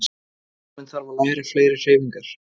Líkaminn þarf að læra fleiri hreyfingar.